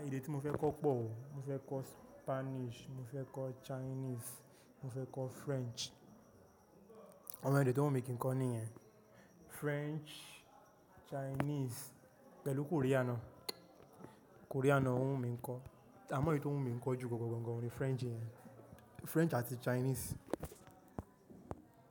Èdè tí mo fẹ́ kọ́ pọ̀ o. Mo fẹ́ kọ́ Spanish, mo fẹ́ kọ́ Chinese, mo fẹ́ kọ́ French. Àwọn èdè tí o wu mi kí n kọ́ nìyẹn French, Chinese pẹ̀lú Korean. Korean náà ọ́ wù mí kọ́. Àmọ́ èyí tí wọ́n wù mí kọ́ jù gangan French yẹn, French àti Chinese.